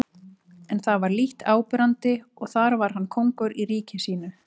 En það var lítt áberandi og þar var hann kóngur í ríki sínu.